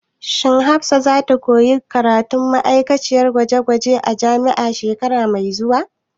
Shin Hafsat za ta koya karatun ma'aikaciyar ɗakin gwaje gwaje a jami'a shekara mai zuwa?